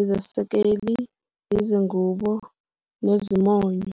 izesekeli, izingubo, nezimonyo.